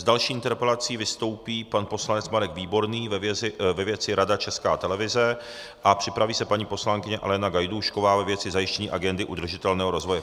S další interpelací vystoupí pan poslanec Marek Výborný ve věci Rada České televize a připraví se paní poslankyně Alena Gajdůšková ve věci zajištění agendy udržitelného rozvoje.